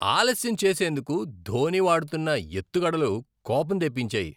ఆలస్యం చేసేందుకు ధోనీ వాడుతున్న ఎత్తుగడలు కోపం తెప్పించాయి.